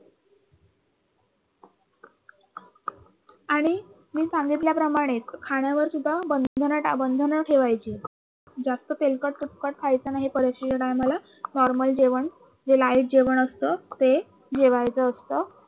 आणि मी सांगितल्याप्रमाणे खाण्यावरसुद्धा बंधन बंधन ठेवायची जास्त तेलकट तुपकट खायचं नाही परीक्षेच्या time ला normal जेवण जे light जेवण असत ते जेवायचं असत